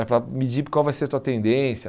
É para medir qual vai ser a tua tendência.